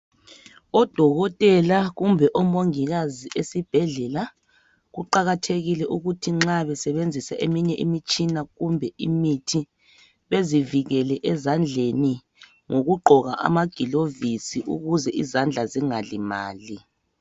Odokotela kumbe omongikazi esibhedlela kuqakathekile ukuthi nxa besebenzisa eminye imitshina kumbe imithi bazivikele ezandleni ngokugqoka amagilovisi ukuze izandla zingalimali.